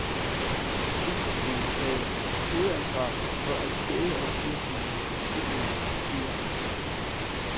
Cykelsmeden havde hovedansvaret for at kæde og gear gik i cyklens eger.